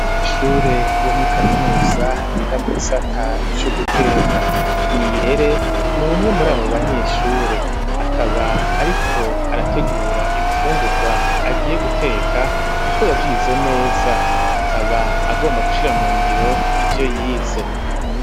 Abanyeshure bo muri kaminuza biga mu gisata c'uguteka Nirere ni ubumwe muri abo banyeshure akaba ariko arategura ibifungurwa agiye guteka kuko yavyize neza akaba agomba gushira mu ngiro ivyo yize